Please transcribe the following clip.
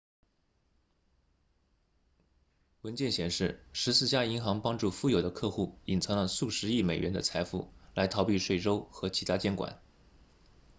文件显示十四家银行帮助富有的客户隐藏了数十亿美元的财富来逃避税收和其它监管